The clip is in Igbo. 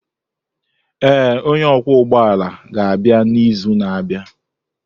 Ee, onye ọkwọ ụgbọ ala ga-abịa n'izu na-abịa.